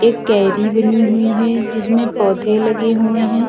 एक कैरी बनी हुई है जिसमें पौधे लगे हुए हैं।